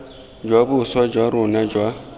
jwa boswa jwa rona jwa